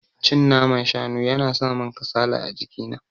Cin naman shanu yana samin kasala a jiki na.